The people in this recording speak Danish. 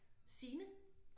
Signe